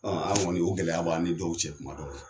An kɔni o gɛlɛya b' aw ni dɔw cɛ kuma dɔw la.